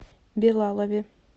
билалове